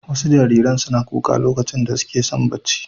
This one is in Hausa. Wasu jariran suna kuka lokacin da suke son barci.